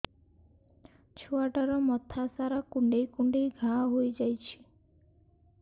ଛୁଆଟାର ମଥା ସାରା କୁଂଡେଇ କୁଂଡେଇ ଘାଆ ହୋଇ ଯାଇଛି